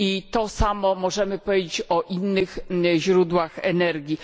To samo możemy powiedzieć o innych źródłach energii.